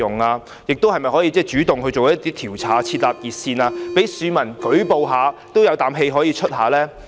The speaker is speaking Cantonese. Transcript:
此外，當局是否可以主動調查，或設立熱線，讓市民舉報，抒發一下呢？